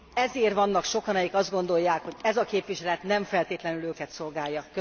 Ezért vannak sokan, akik azt gondolják, hogy ez a képviselet nem feltétlenül őket szolgálja.